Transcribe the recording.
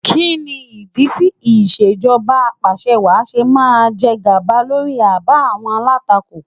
Kí ni ìdí tí ìṣèjọba apàṣẹwàá ṣe máa ń jègàba lórí àbá àwọn alátakò?